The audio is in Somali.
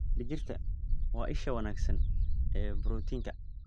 Digirta waa isha wanaagsan ee borotiinka.